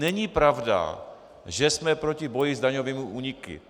Není pravda, že jsme proti boji s daňovými úniky.